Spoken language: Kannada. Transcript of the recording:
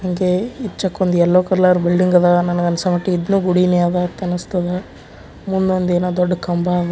ಇಂಗೆ ಇಂಚಕ್ಕೊಂದ್ ಎಲ್ಲೊ ಕಲರ್ ಬಿಲ್ಡಿಂಗ್ ಅದ ನಂಗ ಅನ್ಸ ಮಟ್ಟಿಗ್ ಇದೂನು ಗುಡಿ ಅದ ಅನ್ನಸ್ತದ ಮುಂದೊಂದ್ ಏನ ಕಂಬ ಅದ.